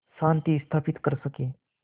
शांति स्थापित कर सकें